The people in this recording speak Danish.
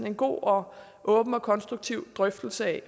en god og åben og konstruktiv drøftelse af